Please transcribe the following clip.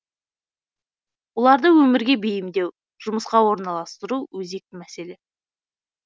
оларды өмірге бейімдеу жұмысқа орналастыру өзекті мәселе